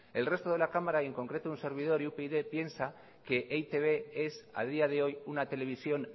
el resto de la cámara y en concreto un servidor y upyd piensa que e i te be es a día de hoy una televisión